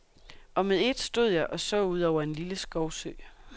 Og med ét stod jeg og så ud over en lille skovsø.